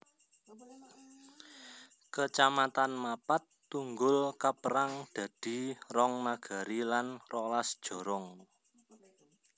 Kecamatan Mapat Tunggul kapérang dadi rong nagari lan rolas jorong